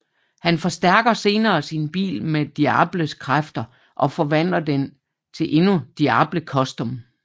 Han forstærker senere sin bil med Diables kræfter og forvandler den til den endnu Diable Custom